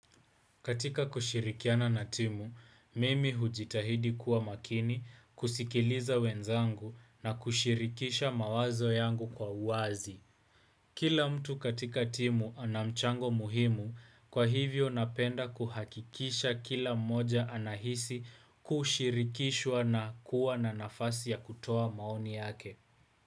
Katika kushirikiana na timu, mimi hujitahidi kuwa makini kusikiliza wenzangu na kushirikisha mawazo yangu kwa uwazi. Kila mtu katika timu ana mchango muhimu kwa hivyo napenda kuhakikisha kila mmoja anahisi kushirikishwa na kuwa na nafasi ya kutoa maoni yake.